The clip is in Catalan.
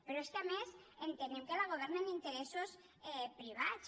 però és que a més entenem que la governen interessos privats